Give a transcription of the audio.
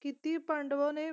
ਕੀਤੀ ਪਾਂਡਵੋ ਨੇ